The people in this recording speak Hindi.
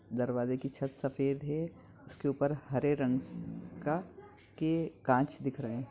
दरवाज़े की छत सफ़ेद है उसके ऊपर हरे रंग स-का के कांच दिख रहे हैं।